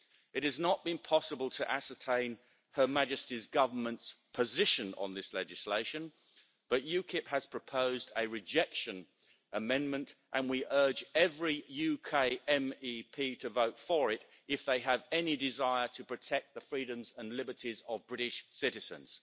It has not been possible to ascertain Her Majesty's Government's position on this legislation, but UKIP has proposed a rejection amendment, and we urge every UK MEP to vote for it if they have any desire to protect the freedoms and liberties of British citizens.